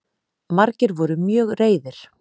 Margir voru mjög reiðir